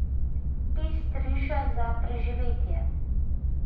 Pest riža za preživetje.